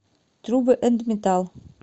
трубы энд металл